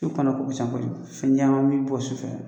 fɛn caman bɛ bɔ su fɛ